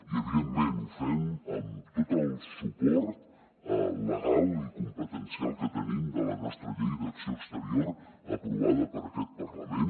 i evidentment ho fem amb tot el suport legal i competencial que tenim de la nostra llei d’acció exterior aprovada per aquest parlament